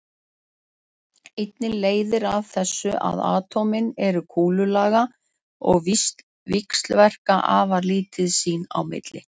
Einnig leiðir af þessu að atómin eru kúlulaga og víxlverka afar lítið sín á milli.